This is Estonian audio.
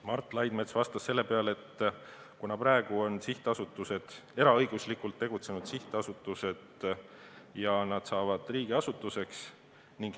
Mart Laidmets vastas, et praegu on sihtasutused eraõiguslikult tegutsenud sihtasutused, nüüd saavad nad riigiasutusteks.